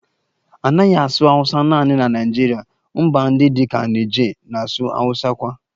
A naghị asụ Awusa naanị na Naịjirịa, mba ndị dị ka Niger na-asụ Awusa kwa